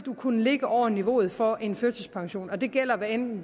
kunne ligge over niveauet for en førtidspension og det gælder hvad enten